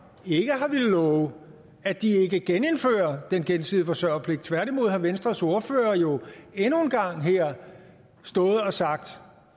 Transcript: ikke har villet love at de ikke genindfører den gensidige forsørgerpligt tværtimod har venstres ordfører jo endnu en gang her stået og sagt